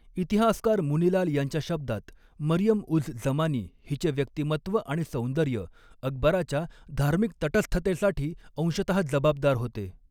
इतिहासकार मुनीलाल यांच्या शब्दात, 'मरियम उझ जमानी हिचे व्यक्तिमत्त्व आणि सौंदर्य अकबराच्या धार्मिक तटस्थतेसाठी अंशतहा जबाबदार होते.